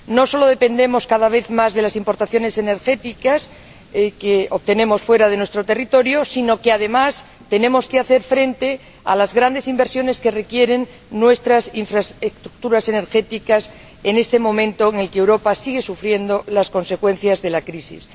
No solo dependemos cada vez más de las importaciones energéticas, que obtenemos fuera de nuestro territorio, sino que, además, tenemos que hacer frente a las grandes inversiones que requieren nuestras infraestructuras energéticas en este momento en el que Europa sigue sufriendo las consecuencias de la crisis.